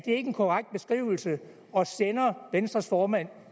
en korrekt beskrivelse og sender venstres formand